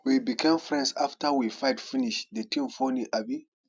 we become friends after we fight finish the thing funny abi